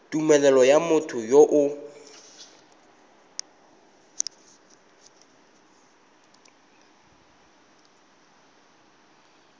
tumelelo ya motho yo o